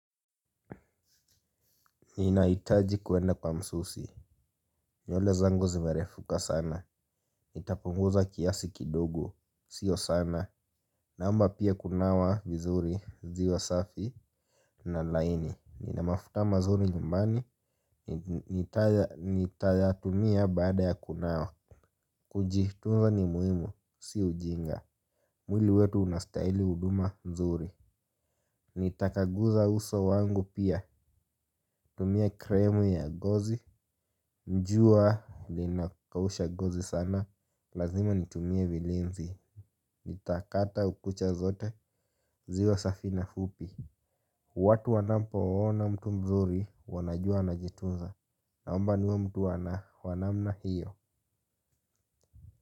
Ninahitaji kuenda kwa msusi. Nywele zangu zimerefuka sana. Itapunguza kiasi kidogo, sio sana. Naomba pia kunawa vizuri ziwa safi na laini. Nina mafuta mazuri nyumbani. Nitayatumia baada ya kunawa. Kujitunza ni muhimu, si ujinga. Mwili wetu unastahili huduma nzuri. Nitakaguza uso wangu pia. Tumia kremu ya gozi. Njua linakausha gozi sana, lazima nitumie vilinzi. Nitakata ukucha zote, ziwe safi na fupi. Watu wanapoona mtu mzuri, wanajua anajitunza. Naomba niwe mtu wa na, wa namna hiyo.